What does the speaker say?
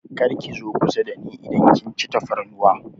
Kar ki zo kusa dani idan kin ci tafarnuwa!